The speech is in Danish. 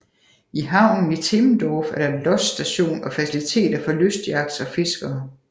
I havnen i Timmendorf er der lodsstation og faciliteter for lystyachts og fiskere